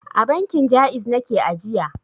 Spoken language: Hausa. A bankin Ja'iz nake ajiya.